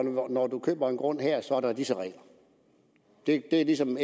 når du køber en grund her er der disse regler det er ligesom